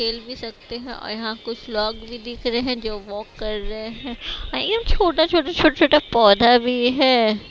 खेल भी सकते हैं और यहां कुछ लोग भी दिख रहे हैं जो वॉक कर रहे हैं ये छोटा छोटा छोटा छोटा पौधा भी है।